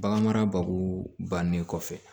Bagan mara bakuru bannen kɔfɛ